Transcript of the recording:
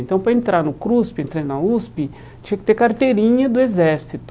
Então pra entrar no CRUSP, entrar na USP, tinha que ter carteirinha do exército.